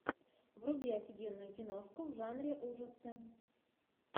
вруби офигенную киношку в жанре ужасы